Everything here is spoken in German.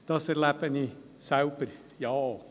Das erlebe ich selber auch.